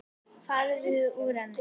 Farðu úr henni.